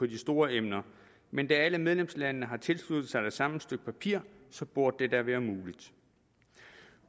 de store emner men da alle medlemslandene har tilsluttet sig det samme stykke papir burde det da være muligt